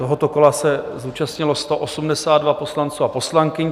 Tohoto kola se zúčastnilo 182 poslanců a poslankyň.